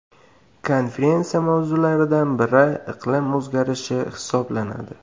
Konferensiya mavzulariodan biri iqlim o‘zgarishi hisoblanadi.